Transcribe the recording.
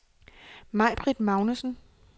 Maibritt Magnussen